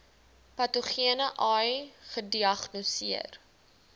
patogene ai gediagnoseer